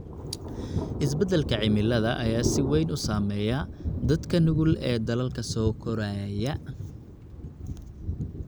Isbeddelka cimilada ayaa si weyn u saameeya dadka nugul ee dalalka soo koraya.